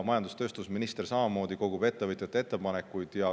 Majandus- ja tööstusminister samamoodi kogub ettevõtjate ettepanekuid.